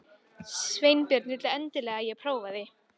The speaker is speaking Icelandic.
Sveinbjörn vildi endilega að ég prófaði.